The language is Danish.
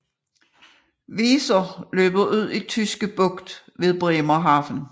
Weser løber ud i Tyske Bugt ved Bremerhaven